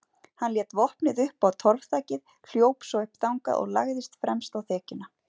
Hann lét vopnið upp á torfþakið, hljóp svo upp þangað og lagðist fremst á þekjuna.